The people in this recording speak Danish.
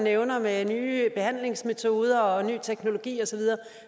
nævner med nye behandlingsmetoder og ny teknologi og så videre